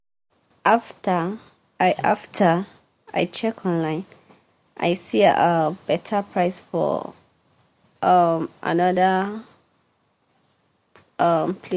after i after i check online i see um better price for um another um place.